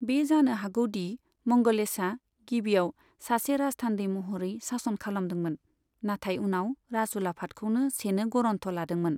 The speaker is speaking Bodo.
बे जानो हागौ दि मंगलेशआ गिबियाव सासे राजथान्दै महरै सासन खालामदोंमोन, नाथाय उनाव राजउलाफादखौनो सेनो गरन्थ लादोंमोन।